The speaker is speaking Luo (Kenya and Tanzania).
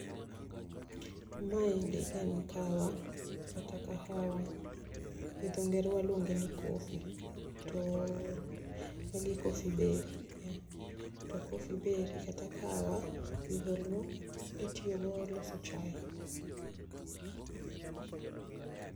Ma endi en kahawa kata kahawa gi dhongere waluonge ni cofee magi coffee beri [R]cofee beri [R] kata kahawa gi dholuo itiyo go loso chai.